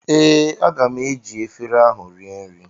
Ee, aga m eji efere ahụ rie nri